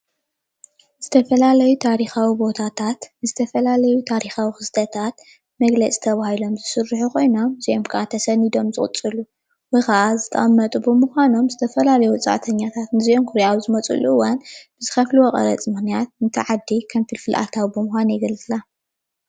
ዝተፈላለዩ ታሪኻዊ ቦታታት፣ ዝተፈላለዩ ታኻዊ ክስተታት መግለፂ ተባሂሎ ዝስርሑ ኮይኖም እዚኦም ከዓ ተሰኒዶም ዝቕፅሉ እሞ ከዓ ዝተቐመጡ ብምኳኖም ዝተፈላለዩ ወፃእተኛታት ንዚኦም ክሪኡ ኣብ ዝመፅሉ እዋን ብዝከፍልዎ ቐረፅ ምኽንያት ነታ ዓደ ከም ፍልፍል ኣታዊ ብምኳን የገልግላ፡፡